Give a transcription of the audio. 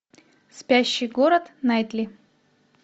спящий город найтли